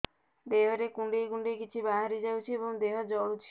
ଦେହରେ କୁଣ୍ଡେଇ କୁଣ୍ଡେଇ କିଛି ବାହାରି ଯାଉଛି ଏବଂ ଦେହ ଜଳୁଛି